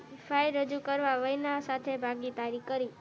file રજૂ કરવા વય ના સાથે ભાગીદારી કરી